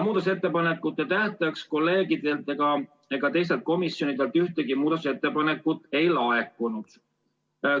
Muudatusettepanekute tähtajaks kolleegidelt ega teistelt komisjonidelt ühtegi ettepanekut ei laekunud.